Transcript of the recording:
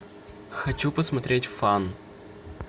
хочу посмотреть фан